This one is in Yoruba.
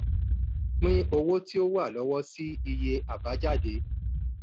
pín owó tó wà lọ́wọ́ sí iye àbájáde.